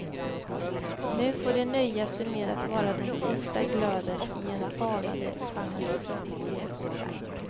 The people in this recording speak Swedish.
Nu får de nöja sig med att vara den sista glöden i en falnande genre.